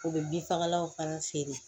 U bɛ bin fagalanw fana feere